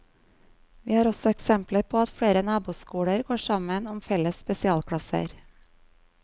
Vi har også eksempler på at flere naboskoler går sammen om felles spesialklasser.